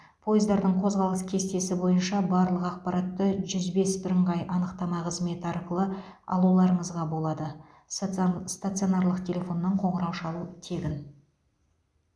пойыздардың қозғалыс кестесі бойынша барлық ақпаратты жүз бес бірыңғай анықтама қызметі арқылы алуларыңызға болады статсон стационарлық телефоннан қоңырау шалу тегін